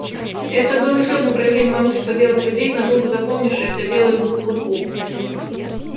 это было ещё одно проявление могущества белых людей надолго запомнившееся белому клыку